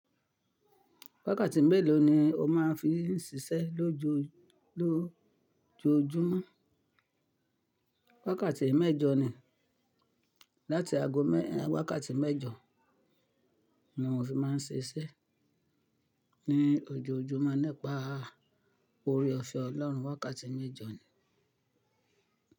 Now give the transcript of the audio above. Wákàtí mélòó ni o máa ń fi ń ṣiṣẹ́ lójoójúmọ́? Wákàtí mẹ́jọ ni. Wákàtí mẹ́jọ ni mo fi máa ń ṣe iṣẹ́ ní ojoojúmọ́ nípa orí òfe Ọlọ́run. Wákàtí mẹ́jọ ni.